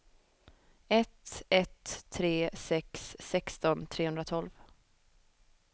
ett ett tre sex sexton trehundratolv